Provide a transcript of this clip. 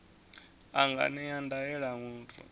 a nga ṅea ndaela muthu